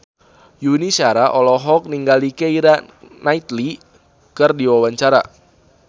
Yuni Shara olohok ningali Keira Knightley keur diwawancara